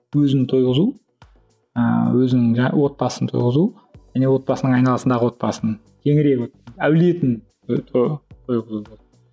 өзін тойғызу ыыы өзінің жаңағы отбасын тойғызу және отбасының айналасындағы отбасын әулетін